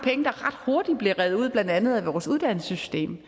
der ret hurtigt bliver revet ud blandt andet af vores uddannelsessystem